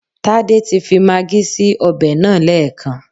Tádé ti fi magí sí ọbẹ̀ náà lẹ́ẹ̀kan